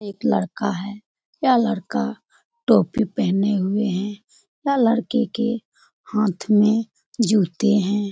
एक लड़का है। यह लड़का टोपी पहने हुए है। यह लड़के के हाथ में जूते हैं।